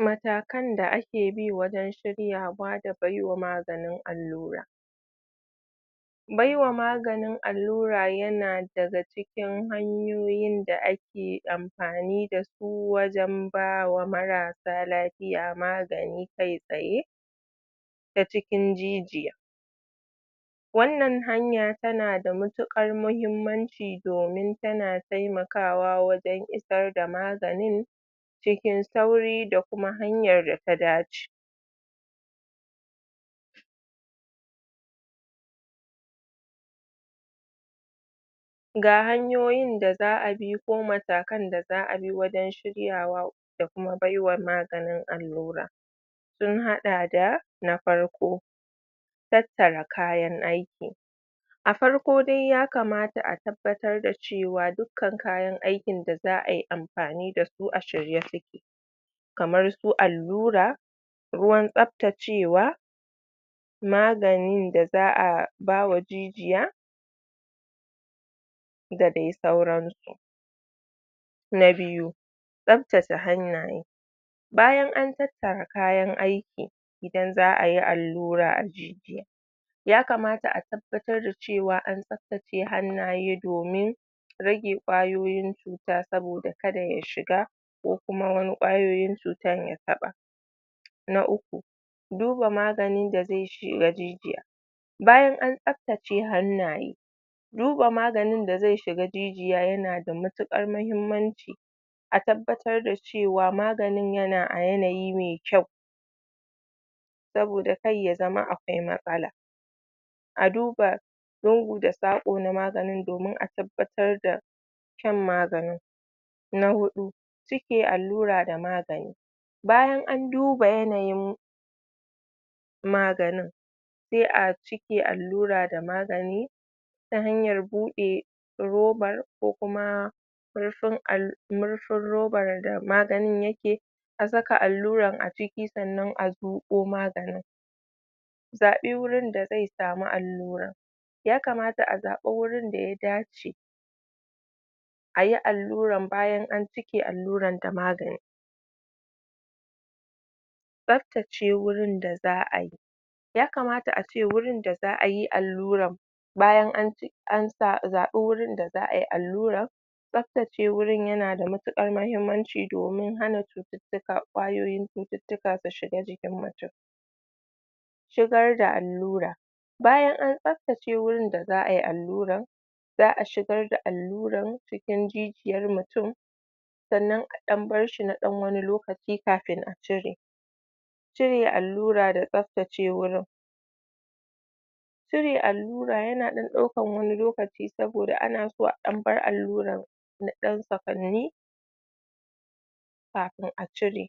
matakan da ake bi wajen shiryawa da baiwa maganin allura baiwa mganin allura yana daga cikin hanyoyin da ake ampani dasu ko wajen ba wa marasa lapiya magani kai tsaye ta cikin jijiya wannan hanya tana da mutuƙar muhimmanci domin tana taimakawa wajen isar da maganin cikin sauri da kuma hanyar da ta dace ga hanyoyin da za'a bi ko matakan da za'a bi wajen shiryawa da kuma bai wa maganin allura sun haɗa da na farko tattara kayan aiki a farko dai yakamata a tabbatar da cewa dukkan kayan aikin da za'ayi ampani dasu a shirye suke kamar su allura ruwan tsaptacewa maganin da za'a bawa jijiya da dai sauransu na biyu tsaptace hannaye bayan an tattara kayan aiki idan za'ayi allura a jijiya yakamata a tabbatar da cewa an tsaptace hannaye domin rage ƙwayoyin cuta saboda kada ya shiga ko kuma wani ƙwayoyin cutan ya taɓa na uku duba maganin da ze shiga jijiya bayan an tsaptace hannaye duba maganin da ze shiga jijiya yana da matuƙar mahimmaci a tabbatar da cewa maganin yana a yanayi me kyau saboda kar ya zama akwai matsala a duba lungu da saƙo na maganin domin a tabbatar da shan maganin na huɗu cike allura da magani bayan an duba yanayin maganin se a cike allura da magani ta hanyar buɗe robar ko kuma murfin al murfin robar da maganin yake a saka alluran a ciki sannan a zuƙo maganin zaɓi wurin da zai sami alluran yakamata a zaɓa wurin da ya dace ayi alluran bayan an cike alluran da magani tsaftace wurin da za'ayi yakamata ace wurin da za'ayi alluran bayan an ci an sa zaɓi wurin da za'ayi alluran tsaftace wurin yana da matuƙar mahimmanci domin hana cututtuka ƙwayoyin cututtuka su shiga jikin mutun shigar da allura bayan an tsaftace wurin da za'ayi alluran za'a shigar da alluran cikin jijiyar mutun sannan a ɗan barshi na ɗan wani lokaci kafin a cire cire allura da tsaftace wurin cire allura yana ɗan ɗaukan wani lokaci saboda ana so a ɗan bar alluran na ɗan sakanni kapin a cire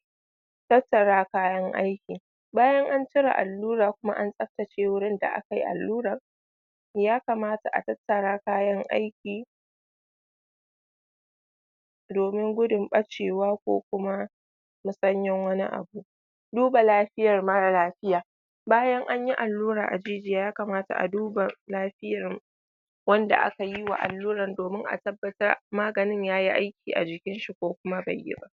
tattara kayan aiki bayan an cire allura kuma an tsaftace wurin da akayi alluran yakamata a tattara kayan aiki domin gudun ɓacewa ko kuma musanyen wani abu duba lafiyar mara lafiya bayan anyi allura a jijiya yakamata a duba lapiyar wanda aka yi wa alluran domin a tabbatar maganin yayi aiki a jikinshi ko kuma bai yi ba